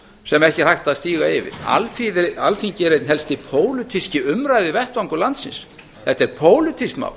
sem ekki er hægt að stíga yfir alþingi er einn helsti pólitíski umræðuvettvangur landsins þetta er pólitískt mál